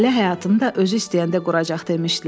Ailə həyatını da özü istəyəndə quracaq demişdilər.